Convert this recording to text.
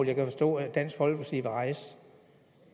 jeg kan forstå at dansk folkeparti vil rejse